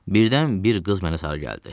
Birdən bir qız mənə sarı gəldi.